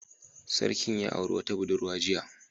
Sarkin ya auri wata budurwa jiya